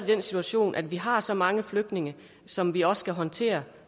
den situation at vi har så mange flygtninge som vi også skal håndtere